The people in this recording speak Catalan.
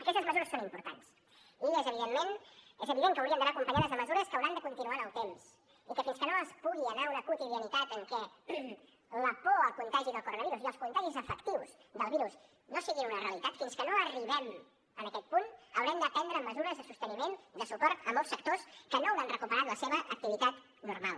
aquestes mesures són importants i és evident que haurien d’anar acompanyades de mesures que hauran de continuar en el temps i que fins que no es pugui anar a una quotidianitat en què la por al contagi del coronavirus i els contagis efectius del virus no deixin de ser una realitat fins que no arribem en aquest punt haurem de prendre mesures de sosteniment de suport a molts sectors que no hauran recuperat la seva activitat normal